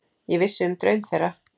Ég vissi um draum þeirra.